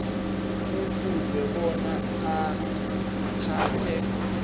kufuze bona athathe